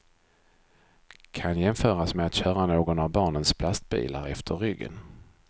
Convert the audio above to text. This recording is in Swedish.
Kan jämföras med att köra någon av barnens plastbilar efter ryggen.